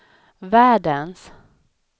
världens